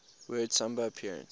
word samba appeared